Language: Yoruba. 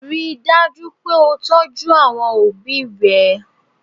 Ríi dájú wípé o tọ́jú àwọn obi rẹ̀